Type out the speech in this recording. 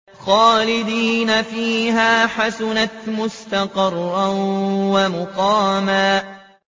خَالِدِينَ فِيهَا ۚ حَسُنَتْ مُسْتَقَرًّا وَمُقَامًا